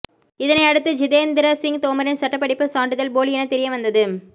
இதனையடுத்து ஜிதேந்திர சிங் தோமரின் சட்டப்படிப்பு சான்றிதழ் போலி என தெரியவந்தது